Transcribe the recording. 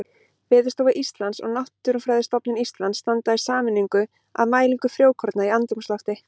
Veðurstofa Íslands og Náttúrufræðistofnun Íslands standa í sameiningu að mælingu frjókorna í andrúmslofti.